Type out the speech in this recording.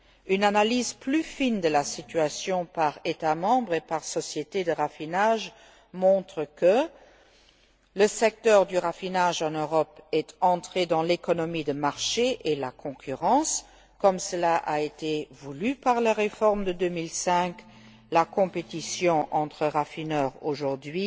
Une analyse plus fine de la situation par État membre et par société de raffinage montre que le secteur du raffinage en Europe est entré dans l'économie de marché et a été soumis à la concurrence, comme cela a été voulu par la réforme de 2005. La compétition entre raffineurs aujourd'hui